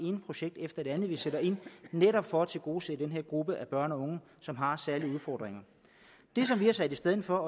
ene projekt efter det andet vi sætter ind netop for at tilgodese den her gruppe af børn og unge som har særlige udfordringer det som vi har sat i stedet for